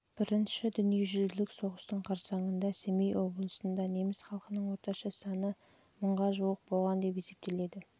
бірінші дүниежүзілік соғыстың қарсаңында семей облысында неміс халқының орташа саны мыңға жуық болған деп есептеледі